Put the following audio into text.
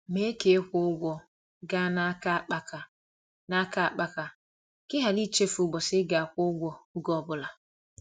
Mee ka ịkwụ ụgwọ gaa n'aka akpaka n'aka akpaka ka ị ghara ichefu ụbọchị ị ga-akwụ ụgwọ, ọge ọbụla.